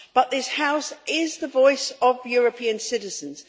This House is the voice of European citizens.